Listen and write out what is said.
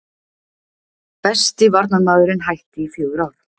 Besti varnarmaðurinn hætti í fjögur ár